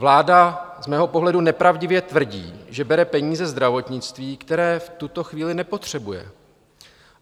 Vláda z mého pohledu nepravdivě tvrdí, že bere peníze zdravotnictví, které v tuto chvíli nepotřebuje.